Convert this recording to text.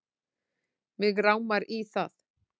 Mig rámar í það